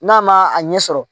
N'a ma a ɲɛ sɔrɔ